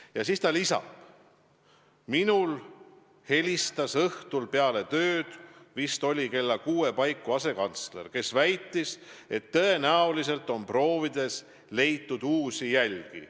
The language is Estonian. " Ja siis ta lisab: "Minule helistas õhtul peale tööd, vist oli kella 6 paiku, asekantsler, kes väitis, et tõenäoliselt on proovides leitud uusi jälgi.